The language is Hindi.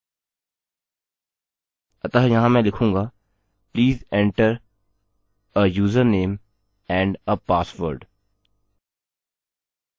अतः यहाँ मैं लिखूँगा please enter a user name and a password